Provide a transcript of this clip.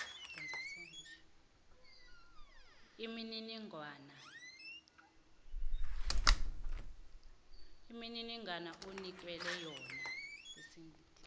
imininingwana osinikela yona